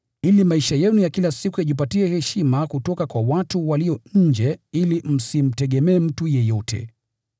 ili maisha yenu ya kila siku yajipatie heshima kutoka kwa watu walio nje, ili msimtegemee mtu yeyote.